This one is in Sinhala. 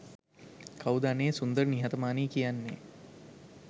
"කවුද අනේ සුන්දර නිහතමානි කියන්නෙ